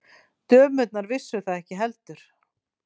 Dömurnar vissu það ekki heldur.